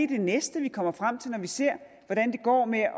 det næste vi kommer frem til når vi ser hvordan det går med at